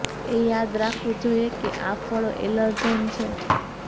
એ યાદ રાખવું જોઈએ કે આ ફળો એલર્જન છે